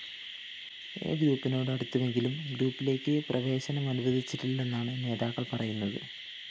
A ഗ്രൂപ്പിനോട് അടുത്തുവെങ്കിലും ഗ്രൂപ്പിലേക്ക് പ്രവേശനമനുവദിച്ചിട്ടില്ലെന്നാണ് നേതാക്കള്‍ പറയുന്നത്